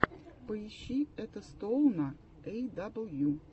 поищи этостоуна эй дабл ю